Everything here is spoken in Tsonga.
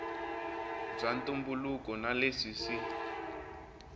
bya ntumbuluko na leswi swi